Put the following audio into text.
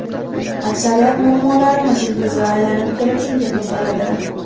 Aksariyat muammolarimiz ildizi aylanib kelib shunga to‘xtaladi.